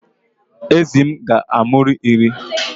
Ezi m ga-amụru iri